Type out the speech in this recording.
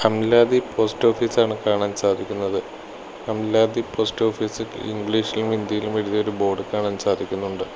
Amladi post office ആണ് കാണാൻ സാധിക്കുന്നത് അംലാദി പോസ്റ്റോഫീസ് ഇംഗ്ലീഷിലും ഹിന്ദിയിലും എഴുതിയ ഒരു ബോർഡ് കാണാൻ സാധിക്കുന്നുണ്ട്.